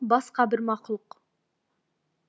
басқа бір мақұлық